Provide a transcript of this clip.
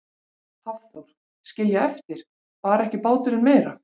Hafþór: Skilja eftir, bar ekki báturinn meira?